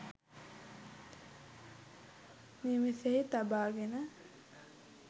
නිවෙසෙහි තබාගෙන